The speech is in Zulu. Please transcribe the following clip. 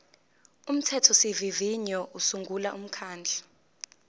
umthethosivivinyo usungula umkhandlu